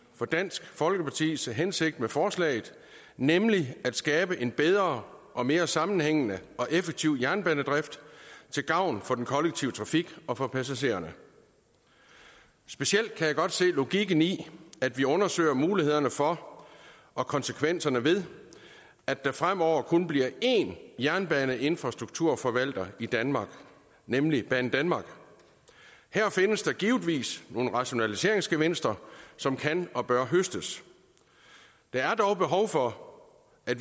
for dansk folkepartis hensigt med forslaget nemlig at skabe en bedre og mere sammenhængende og effektiv jernbanedrift til gavn for den kollektive trafik og passagererne specielt kan jeg godt se logikken i at vi undersøger mulighederne for og konsekvenserne ved at der fremover kun bliver én jernbaneinfrastrukturforvalter i danmark nemlig banedanmark her findes der givetvis nogle rationaliseringsgevinster som kan og bør høstes der er dog behov for at